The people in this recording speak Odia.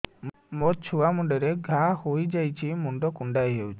ମୋ ଛୁଆ ମୁଣ୍ଡରେ ଘାଆ ହୋଇଯାଇଛି ମୁଣ୍ଡ କୁଣ୍ଡେଇ ହେଉଛି